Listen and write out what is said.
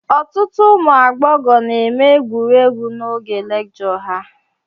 Ọtụtụ ụmụ agbọghọ na-eme egwuregwu n'oge lijọ ha